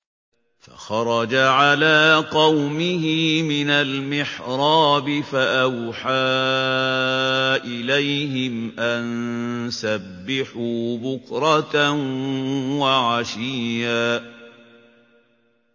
فَخَرَجَ عَلَىٰ قَوْمِهِ مِنَ الْمِحْرَابِ فَأَوْحَىٰ إِلَيْهِمْ أَن سَبِّحُوا بُكْرَةً وَعَشِيًّا